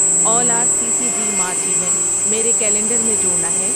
آل R C C G March event میرے calendar میں جوڑنا ہے